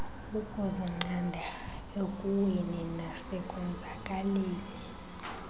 ukuzinqanda ekuweni nasekonzakaliseni